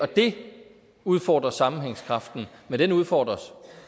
det udfordrer sammenhængskraften men den udfordres